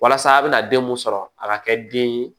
Walasa a bɛ na den mun sɔrɔ a ka kɛ den ye